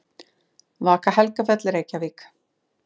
Vaka Helgafell, Reykjavík.